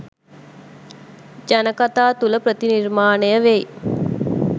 ජනකතා තුළ ප්‍රතිනිර්මාණය වෙයි.